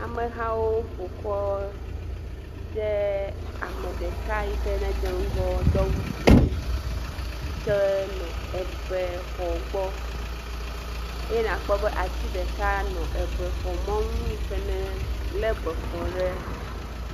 Amehawo ƒo kɔ ɖe ame ɖeka yike nedze ŋgɔ do awu dzɛ̃yike nɔ ebexɔ gbɔ eye nàkpɔ be ati ɖeka nɔ ebexɔ mɔnu yike nelé bexɔ ɖe dzi.